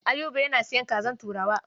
Ayuba yana sayan kazar turawa.